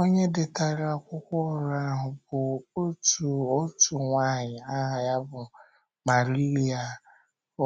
Onye detara akwụkwọ oru ahụ bụ́ otu otu nwanyị aha ya bụ́ Marília,